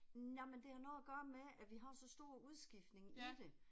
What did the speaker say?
Jamen det har noget at gøre med at vi har så stor udskiftning i det